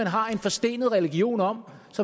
har en forstenet religion om